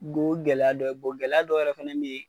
o gɛlɛya dɔ ye, gɛlɛya dɔ yɛrɛ fɛnɛ be yen